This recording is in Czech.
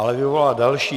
Ale vyvolala další.